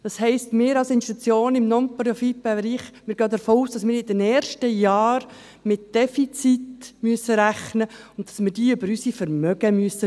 Das heisst, als Institution im Non-Profit-Bereich gehen wir davon aus, dass wir in den ersten Jahren mit Defiziten rechnen müssen und wir diese mit unseren Vermögen auffangen müssen.